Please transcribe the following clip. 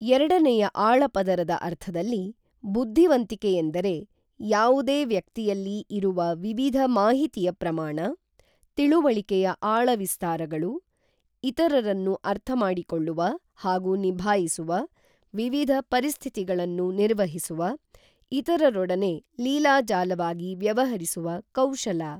ಎರಡನೆಯ ಆಳಪದರದ ಅರ್ಥದಲ್ಲಿ, ಬುದ್ಧಿವಂತಿಕೆಯೆಂದರೆ ಯಾವುದೇ ವ್ಯಕ್ತಿಯಲ್ಲಿ ಇರುವ ವಿವಿಧ ಮಾಹಿತಿಯ ಪ್ರಮಾಣ, ತಿಳುವಳಿಕೆಯ ಆಳವಿಸ್ತಾರಗಳು, ಇತರರನ್ನು ಅರ್ಥ ಮಾಡಿಕೊಳ್ಳುವ ಹಾಗೂ ನಿಭಾಯಿಸುವ, ವಿವಿಧ ಪರಿಸ್ಥಿತಿಗಳನ್ನು ನಿರ್ವಹಿಸುವ, ಇತರರೊಡನೆ ಲೀಲಾಜಾಲವಾಗಿ ವ್ಯವಹರಿಸುವ ಕೌಶಲ.